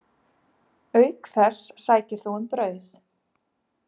Auk þess sækir þú um brauð.